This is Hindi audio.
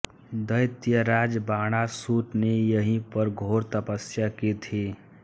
दैत्यराज बाणासुर ने यहीं पर घोर तपस्या की थी